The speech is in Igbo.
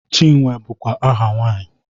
Chinwe bụkwa aha nwaanyị